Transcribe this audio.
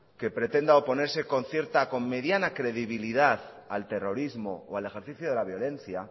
que pretenda oponerse con mediana credibilidad al terrorismo o al ejercicio de la violencia